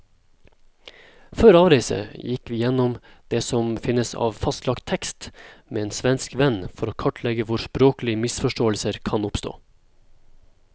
Før avreise gikk vi gjennom det som finnes av fastlagt tekst med en svensk venn, for å kartlegge hvor språklige misforståelser kan oppstå.